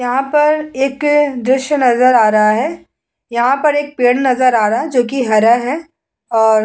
यहां पर एक दृश्य नज़र आ रहा है। यहां पर पेड़ नजर आ रहा है जोकि हरा है और --